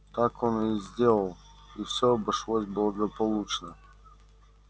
так он и сделал и всё обошлось благополучно